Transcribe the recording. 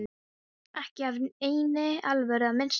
Ekki af neinni alvöru að minnsta kosti.